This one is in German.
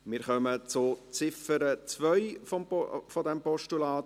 Wir kommen zur Ziffer 2 dieses Postulats.